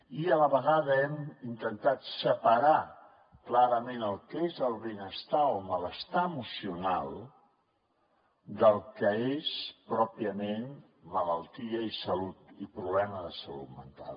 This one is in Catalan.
i a la vegada hem intentat separar clarament el que és benestar o malestar emocional del que és pròpiament malaltia i problema de salut mental